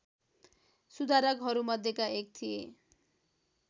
सुधारकहरूमध्येका एक थिए